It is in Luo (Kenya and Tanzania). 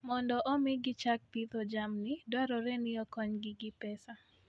Mondo omi gichak pidho jamni, dwarore ni okonygi gi pesa.